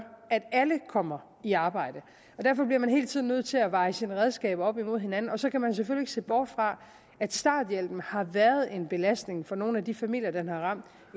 at alle kommer i arbejde derfor bliver man hele tiden nødt til at veje sine redskaber op mod hinanden og så kan man selvfølgelig ikke se bort fra at starthjælpen har været en belastning for nogle af de familier den har ramt